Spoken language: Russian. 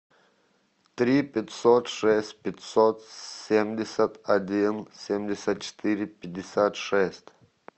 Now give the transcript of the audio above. три пятьсот шесть пятьсот семьдесят один семьдесят четыре пятьдесят шесть